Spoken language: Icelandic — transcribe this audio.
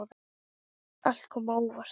Allt kom á óvart.